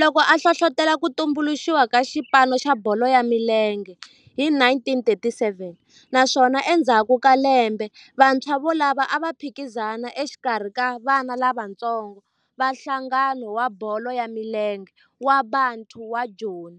loko a hlohlotela ku tumbuluxiwa ka xipano xa bolo ya milenge hi 1937 naswona endzhaku ka lembe vantshwa volavo a va phikizana exikarhi ka vana lavatsongo va nhlangano wa bolo ya milenge wa Bantu wa Joni